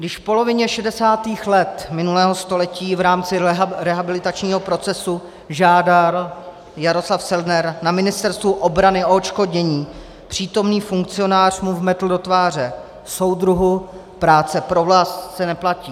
Když v polovině 60. let minulého století v rámci rehabilitačního procesu žádal Jaroslav Selner na Ministerstvu obrany o odškodnění, přítomný funkcionář mu vmetl do tváře: Soudruhu, práce pro vlast se neplatí.